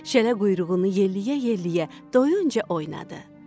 Şələ quyruğunu yellyə-yellyə doyuncaya oynadı.